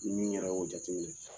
min yɛrɛ y'o jate minɛ.